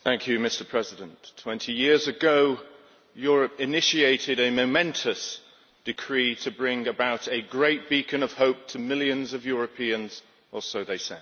Mr President, twenty years ago Europe initiated a momentous decree to bring about a great beacon of hope to millions of Europeans, or so they said.